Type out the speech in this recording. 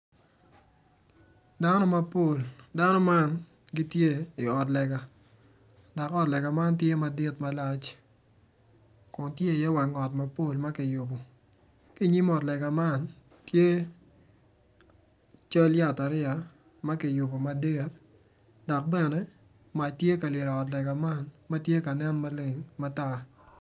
Dano mapol dano man gitye iot lega dok ot lega man tye madit kun tye iye wang ot mapol ma kiyubo ki inyim ot lega man tye cal yat ariya ma kiyubo madit dok bene mac tye ka lyel i ot lega man ma tye ka nen maleng matar.